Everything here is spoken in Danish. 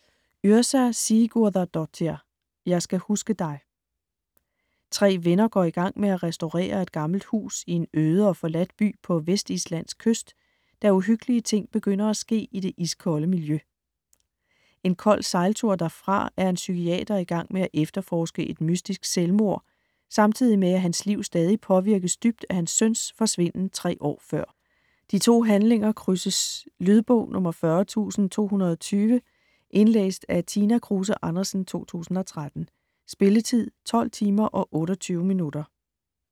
Yrsa Sigurðardóttir: Jeg skal huske dig Tre venner går i gang med at restaurere et gammelt hus i en øde og forladt by på Vestislands kyst, da uhyggelige ting begynder at ske i det iskolde miljø. En kold sejltur derfra er en psykiater i gang med at efterforske et mystisk selvmord, samtidig med at hans liv stadig påvirkes dybt af hans søns forsvinden 3 år før. De to handlinger krydses. Lydbog 40220 Indlæst af Tina Kruse Andersen, 2013. Spilletid: 12 timer, 28 minutter.